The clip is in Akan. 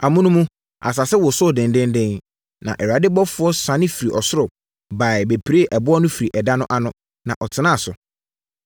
Amonom, asase wosoo denden; na Awurade ɔbɔfoɔ siane firii ɔsoro baeɛ bɛpiree ɛboɔ no firii ɛda no ano, na ɔtenaa so.